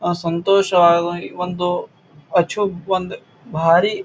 ಅಹ್ ಸಂತೋಷವಾಗಿ ಒಂದು ಅಚೂತ್ ವಂತ ಭಾರಿ--